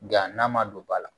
Nga n'a ma don ba la